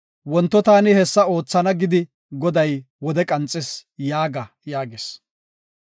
Wonto taani hessa oothana gidi Goday wode qanxis’ yaaga” yaagis.